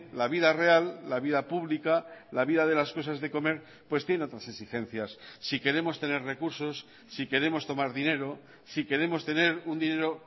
la vida real la vida pública la vida de las cosas de comer pues tiene otras exigencias si queremos tener recursos si queremos tomar dinero si queremos tener un dinero